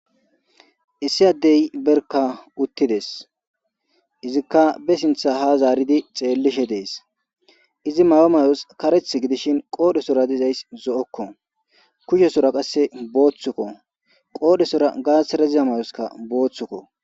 Issi addey berka uttides izikka be sintha ha zaaridi xeellishe dees izi mawa mayos kareth gidishin qoodhesora dizays zo7okko kushesora qasse booththukko qoodhesora gaasira ziza mayoska booththukko